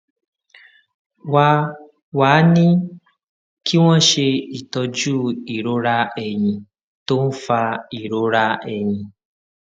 wá a wá a ní kí wón ṣe itọju ìrora ẹyìn tó ń fa ìrora ẹyìn